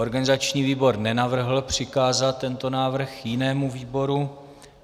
Organizační výbor nenavrhl přikázat tento návrh jinému výboru.